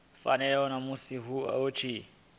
fanaho na musi hu tshi